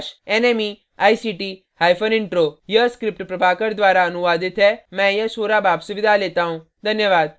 यह स्क्रिप्ट प्रभाकर द्वारा अनुवादित है मैं यश वोरा अब आपसे विदा लेता हूँ धन्यवाद